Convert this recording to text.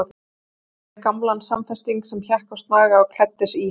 Örn greip gamlan samfesting sem hékk á snaga og klæddi sig í hann.